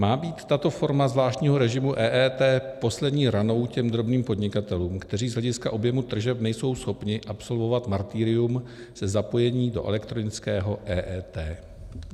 Má být tato forma zvláštního režimu EET poslední ranou těm drobným podnikatelům, kteří z hlediska objemu tržeb nejsou schopni absolvovat martyrium se zapojením do elektronického EET?